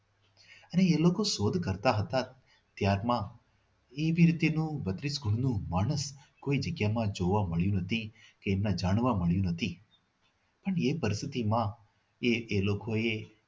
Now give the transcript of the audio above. અને એ લોકો શોધ કરતા હતા ત્યારે ત્યારમાં એવી રીતનું બત્રીસ કુળનું માણસ કોઈ જગ્યામાં જોવા મળ્યું નથી કે ના જાણવા મળ્યું નથી અને એ પરિસ્થિતિમાં એ એ લોકોએ